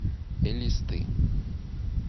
элисты